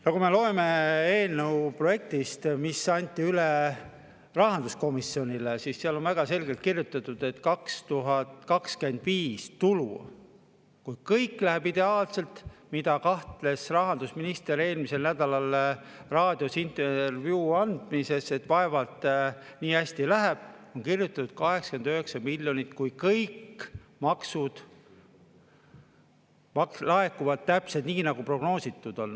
Aga kui me loeme eelnõu projekti, mis anti üle rahanduskomisjonile, siis seal on väga selgelt kirjutatud, et aastal 2025 tulu, kui kõik läheb ideaalselt – selles küll kahtles rahandusminister eelmisel nädalal raadios intervjuu andmisel, et vaevalt nii hästi läheb –, on 89 miljonit, kui kõik maksud laekuvad täpselt nii, nagu prognoositud on.